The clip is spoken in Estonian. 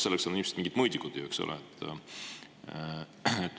Selleks on ilmselt mingid mõõdikud, eks ole.